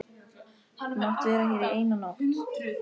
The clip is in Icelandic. Þú mátt vera hér eina nótt.